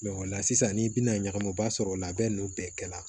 o la sisan ni i bina ɲagami i b'a sɔrɔ o labɛn nunnu bɛɛ kɛla